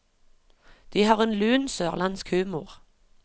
De har en lun, sørlandsk humor.